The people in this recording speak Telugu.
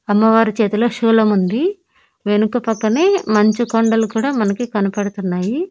అమ్మవారి చేతిలో శూలం ఉంది వెనుక పక్కనే మంచు కొండలు కూడా మనకి కనబడుతున్నాయి.